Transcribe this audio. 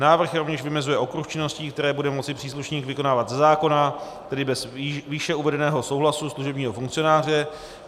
Návrh rovněž vymezuje okruh činností, které bude moci příslušník vykonávat ze zákona, tedy bez výše uvedeného souhlasu služebního funkcionáře.